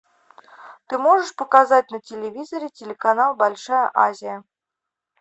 ты можешь показать на телевизоре телеканал большая азия